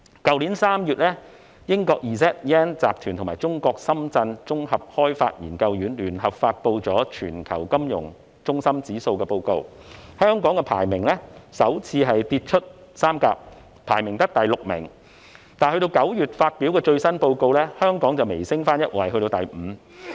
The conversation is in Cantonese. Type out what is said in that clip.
去年3月英國 Z/Yen 集團與中國綜合開發研究院聯合發布了《全球金融中心指數報告》，香港排名首次跌出三甲，只得第六名，而9月發表的最新報告，香港微升一位至第五。